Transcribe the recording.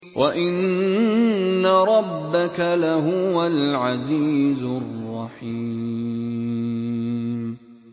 وَإِنَّ رَبَّكَ لَهُوَ الْعَزِيزُ الرَّحِيمُ